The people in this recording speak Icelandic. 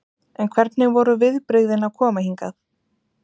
En hvernig voru viðbrigðin að koma hingað?